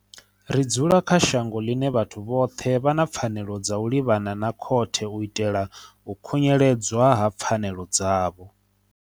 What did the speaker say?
Ri dzula kha shango ḽine vhathu vhoṱhe vha na pfanelo dza u livhana na khothe u itela u khunyeledzwa ha pfanelo dzavho.